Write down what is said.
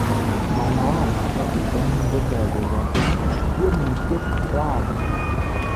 Manowari nebo bitonin kotoi koochi tiemutiet rani.